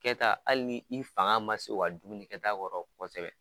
Kɛta hali ni i fanga ma se u ka dumuni kɛ ta kɔrɔ kɔsɔbɛ.